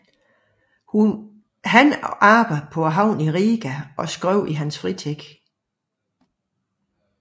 Han arbejdede på havnen i Riga og skrev i sin fritid